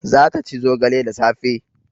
Za ta ci zogale da safe